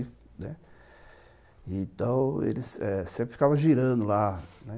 Né, então, eles eh sempre ficavam girando lá.